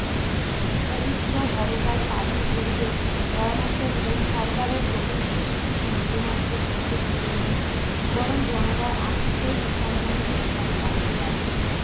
পবিত্র হরতাল পালন করিতে পরামর্শ দিলেন সরকারের ক্রোধের প্রতি তিনি বিন্দুমাত্র ভ্রুক্ষেপ করলেন না বরং জনতা আক্রোশ সম্বন্ধে ভয় পাইতে লাগিলেন